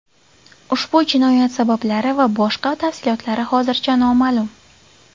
Ushbu jinoyat sabablari va boshqa tafsilotlari hozircha noma’lum.